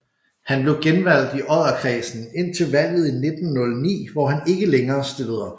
Han blev genvalgt i Odderkredsen indtil valget i 1909 hvor han ikke længere stillede op